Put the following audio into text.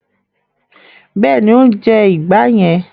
Bẹ́ẹ̀ni, ó ń jẹ ìgbá yẹn.